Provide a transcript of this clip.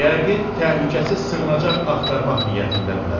Yəqin təhlükəsiz sığınacaq axtarmaq niyyətindədirlər.